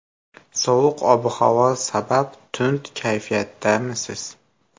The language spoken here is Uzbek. Sovuq ob-havo sabab tund kayfiyatdamisiz?